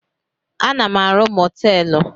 Ana m arụ mọtelụ.